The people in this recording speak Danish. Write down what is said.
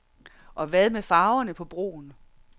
Og hvad med farverne på broen?